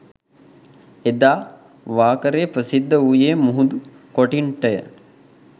එදා වාකරේ ප්‍රසිද්ධ වූයේ මුහුදු කොටින්ටය